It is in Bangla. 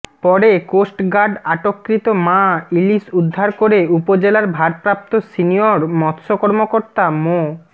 পরে কোস্টগার্ড আটককৃত মা ইলিশ উদ্ধার করে উপজেলার ভারপ্রাপ্ত সিনিয়র মৎস্য কর্মকর্তা মো